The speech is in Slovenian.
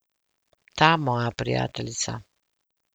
Ta moja prijateljica.